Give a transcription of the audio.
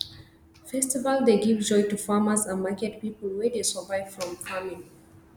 festival dey give joy to farmers and market people wey dey survive from farming